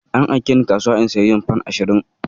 An aike ni kasuwa in yi siyayyar fan ashirin